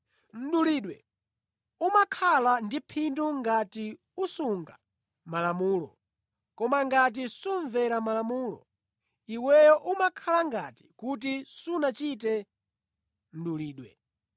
Mdulidwe umakhala ndi phindu ngati usunga Malamulo, koma ngati sumvera Malamulo, iweyo umakhala ngati kuti sunachite mdulidwe.